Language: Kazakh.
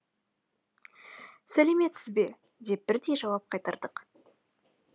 сәлеметсіз бе деп бірдей жауап қайтардық